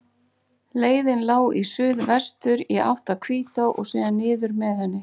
Leiðin lá í suðvestur, í átt að Hvítá og síðan niður með henni.